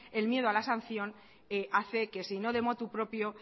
el miedo en la sanción hace que si no de motu propio